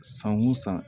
San o san